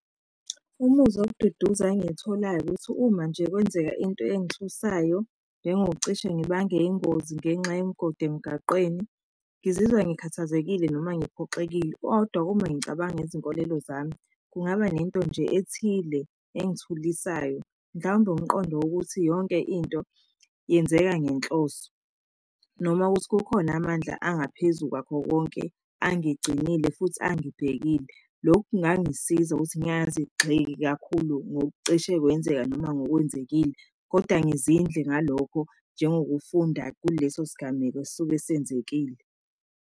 Umuzwa wokududuza engiyitholayo ukuthi uma nje kwenzeka into engithusayo, njengokucishe ngibange ingozi ngenxa yemigodi emgaqweni, ngizizwa ngikhathazekile noma ngiphoxekile kodwa uma ngicabanga izinkolelo zami, kungaba nento nje ethile engithulisayo. Ngangomqondo ukuthi, yonke into yenzeka ngenhloso, noma ukuthi kukhona amandla angaphezu kwakho konke angigcinile futhi angibhekile. Lokhu kungangisiza ukuthi ngingazigxeki kakhulu ngokucishe kwenzeka noma ngokwenzekile kodwa ngizindle ngalokho njengokufunda kuleso sigameko esuke senzekile.